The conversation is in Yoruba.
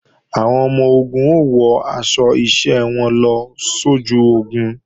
Àwọn ọmọ-ogun ó wọ aṣọ iṣẹ́ wọn lọ sójú ogun